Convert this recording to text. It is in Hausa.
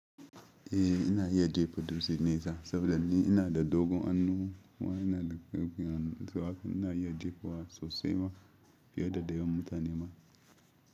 Eh ina iya jefa dutse nesa saboda ni ina da dogon hannu kuma ina da ƙarfin hannu. Sanoda haka ina iya jefa wa sosai ma fiye da da yawan mutane ma.